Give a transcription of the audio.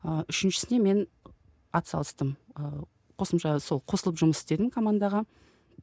ыыы үшіншісіне мен атсалыстым ыыы қосымша сол қосылып жұмыс істедім командаға